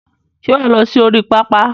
Ṣé wà á lọ sí orí pápá?